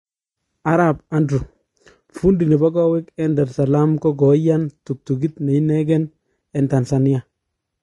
arap Andrew, fundi nepo kawek en Dar saleem ko koyaan tuktukit ne ninekeeen en Tanzania